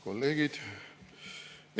Kolleegid!